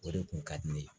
O de kun ka di ne ye